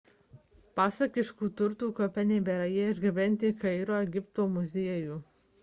pasakiškų turtų kape nebėra – jie išgabenti į kairo egipto muziejų